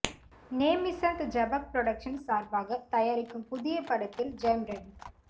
Nemichand Jabak productions சார்பாக தயாரிக்கும் புதிய படத்தில் ஜெயம் ரவி